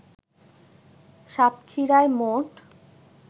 সাতক্ষীরায় মোট